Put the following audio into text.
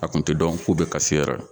A kun te dɔn k'u be kasi yɛrɛ